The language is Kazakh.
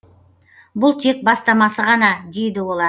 бұл тек бастамасы ғана дейді олар